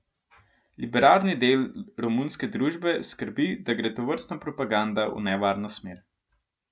Liberalni del romunske družbe skrbi, da gre tovrstna propaganda v nevarno smer.